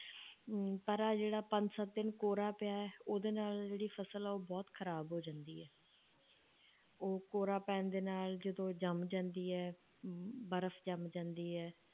ਹਮ ਪਰ ਆਹ ਜਿਹੜਾ ਪੰਜ ਸੱਤ ਦਿਨ ਕੋਹਰਾ ਪਿਆ ਹੈ, ਉਹਦੇ ਨਾਲ ਜਿਹੜੀ ਫਸਲ ਆ, ਉਹ ਬਹੁਤ ਖ਼ਰਾਬ ਹੋ ਜਾਂਦੀ ਹੈ ਉਹ ਕੋਹਰਾ ਪੈਣ ਦੇ ਨਾਲ ਜਦੋਂ ਜੰਮ ਜਾਂਦੀ ਹੈ ਅਮ ਬਰਫ਼ ਜੰਮ ਜਾਂਦੀ ਹੈ